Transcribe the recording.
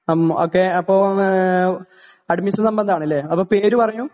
ഹ്ം okay അപ്പം admission സംബന്ധമാണല്ലേ അപ്പോ പേര് പറയൂ